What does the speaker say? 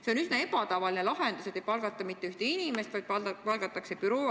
See on üsna ebatavaline lahendus, et ei palgata mitte ühte inimest, vaid palgatakse büroo.